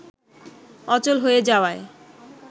অচল হয়ে যাওয়ায়